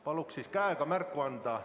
Palun siis käega märku anda.